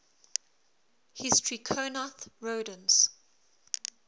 hystricognath rodents